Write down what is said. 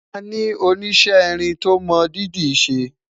àní oníṣe irin tó mọ dídì ṣé